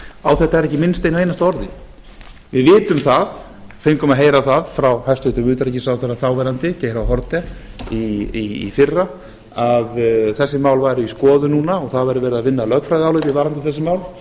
á þetta er ekki minnst einu einasta orði við augum að heyra það frá hæstvirtur þáverandi utanríkisráðherra geir h haarde í fyrra að þessi mál væru skoðuð núna og það væri verið að vinna að lögfræðiáliti varðandi þessi mál